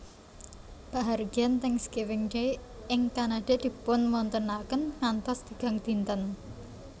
Pahargyan Thanksgiving Day ing Kanada dipunawontenaken ngantos tigang dinten